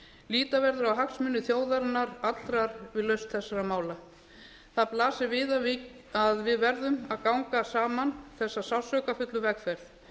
líta verður á hagsmuni þjóðarinnar allrar við lausn þessara mála það blasir við að við verðum að ganga saman þessa sársaukafullu vegferð